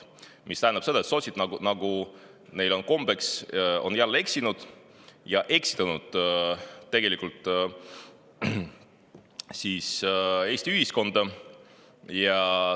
See tähendab, et sotsid, nagu neil on kombeks, on jälle eksinud ja tegelikult Eesti ühiskonda eksitanud.